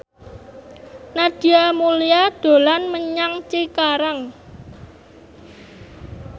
Nadia Mulya dolan menyang Cikarang